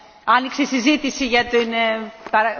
Madame la Présidente, vous avez parfaitement raison.